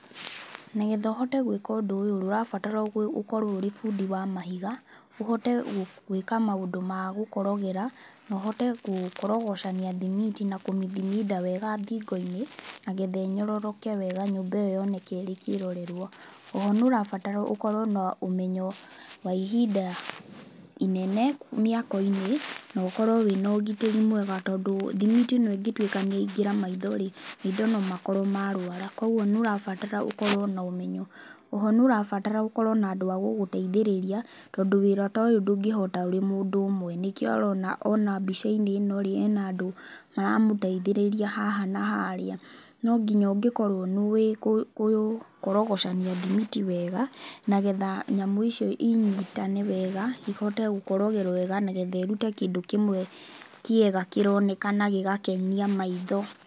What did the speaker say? Nĩgetha ũhote gwĩka ũndũ ũyũ ũrabatara gũ ũkorwo ũrĩ bundi wa mahiga, ũhote gũ gwĩka maũndũ ma gũkorogera na ũhote gũkorogocania thimiti na kũmithiminda wega thingo-inĩ, nagetha ĩnyororoke wega nyũmba ĩyo yoneka ĩrĩ kĩrorerwa. Oho nĩũrabatara ũkorwo na ũmenyo wa ihinda inene mĩako-inĩ, nokorwo wĩna ũgitĩri mwega tondũ thimiti ĩno ĩngĩtwĩka nĩyaingĩra maitho-rĩ, maitho nomakorwo marũara kwoguo nĩ ũrabatara ũkorwo na ũmenyo. Oho nĩũrabatara ũkorwo na andũ a gũgũteithĩrĩria, tondũ wĩra ta ũyũ ndũngĩhota wĩ mũndũ ũmwe. Nĩkĩo ũrona ona mbica-inĩ ĩno-rĩ, ĩna andũ maramũteithĩrĩria haha na harĩa. No nginya ũngĩkorwo nĩ ũĩ gũ gũ gũkorogocania thimiti wega, nagetha nyamũ icio inyitane wega, ihote gũkorogwo wega, nagetha irute kĩndũ kĩmwe kĩega kĩroneka na gĩgakenia maitho.